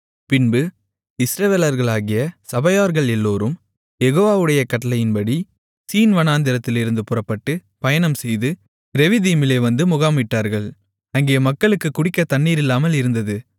பின்பு இஸ்ரவேலர்களாகிய சபையார்கள் எல்லோரும் யெகோவாவுடைய கட்டளையின்படி சீன் வனாந்திரத்திலிருந்து புறப்பட்டு பயணம்செய்து ரெவிதீமிலே வந்து முகாமிட்டார்கள் அங்கே மக்களுக்குக் குடிக்கத் தண்ணீர் இல்லாமல் இருந்தது